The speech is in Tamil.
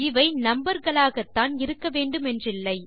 இவை நம்பர் களாகத்தான் இருக்க வேண்டுமென்றில்லை